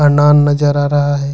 अनार नजर आ रहा है।